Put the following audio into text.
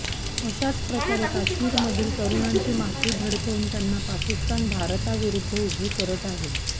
अशाच प्रकारे काश्मीरमधील तरुणांची माथी भडकावून त्यांना पाकिस्तान भारताविरुद्ध उभे करत आहे